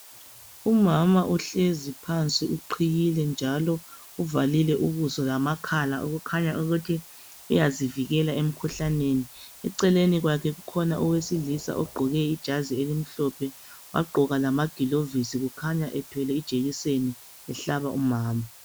Umama uhlezi phansi uqhiyile njalo uvalile ubuso lamakhala. Okukhanya ukuthi uyazivikela emkhuhlaneni. Eceleni kwakhe kukhona owesilisa ogqoke ijazi elimhlophe wagqoka lamagilovisi kukhanya ethwele ijekiseni ehlaba umama.